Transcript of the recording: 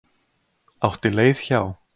Átti leið hjá.